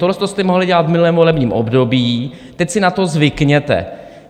Tohleto jste mohli dělat v minulém volebním období, teď si na to zvykněte.